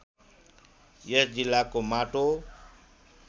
यस जिल्लाको माटो